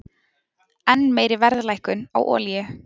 Enn meiri verðlækkun á olíu